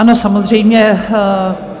Ano, samozřejmě.